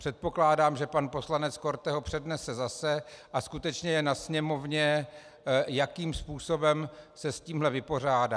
Předpokládám, že pan poslanec Korte ho přednese zase, a skutečně je na Sněmovně, jakým způsobem se s tímhle vypořádá.